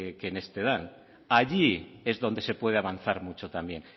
que este dan allí es donde se puede avanzar mucho también